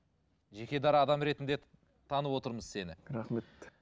жеке дара адам ретінде танып отырмыз сені рахмет